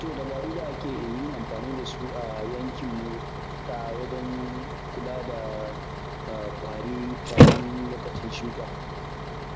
To dabarun da ake yin amfani da su a yankinmu, ta wajen kula da ƙwari kafin lokacin shuka.